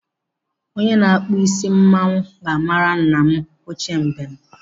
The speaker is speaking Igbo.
Onye na-akpụ isi mmanwu ga-mara nna m ochie mbem.